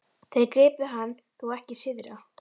Þeir gripu hann þó ekki syðra?